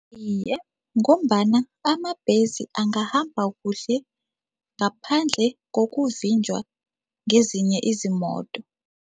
Iye, ngombana amabhesi angahamba kuhle ngaphandle kokuvinjwa ngezinye izimoto.